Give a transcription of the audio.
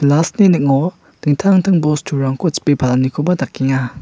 ning·o dingtang dingtang bosturangko chipe palanikoba dakenga.